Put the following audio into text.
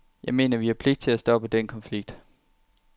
Jeg mener, at vi har pligt til at stoppe den konflikt.